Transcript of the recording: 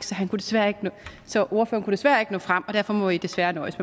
så ordføreren kunne desværre ikke nå frem og derfor må i desværre nøjes